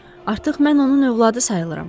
Artıq mən onun övladı sayıram.